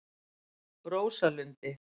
Rósalundi